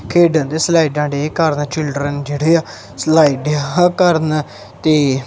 ਖੇਡਾਂ ਦੇ ਸਲਾਈਡਾਂ ਡੇ ਆ ਕਰਨ ਦਾ ਚਿਲਡਰਨ ਜਿਹੜੇ ਆ ਸਲਾਈਡ ਆ ਕਰਨ ਤੇ।